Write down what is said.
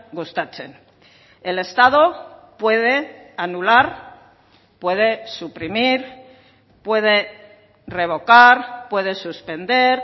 gustatzen el estado puede anular puede suprimir puede revocar puede suspender